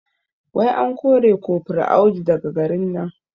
Wai an kore kofur Audu daga garin nan?